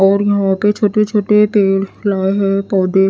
और यहां पे छोटे छोटे पेड़ लाए हैं पौधे--